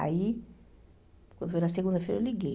Aí, quando foi na segunda-feira, eu liguei.